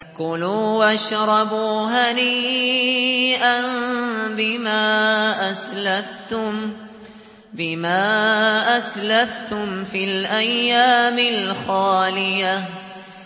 كُلُوا وَاشْرَبُوا هَنِيئًا بِمَا أَسْلَفْتُمْ فِي الْأَيَّامِ الْخَالِيَةِ